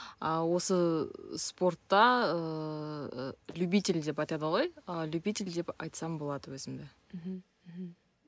а осы спортта ыыы любитель деп айтады ғой ы любитель деп айтсам болады өзімді мхм мхм